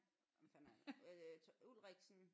Hvem fanden er det nu øh Ulriksen